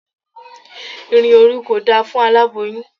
Ìrìn òru kò da fún aláboyun.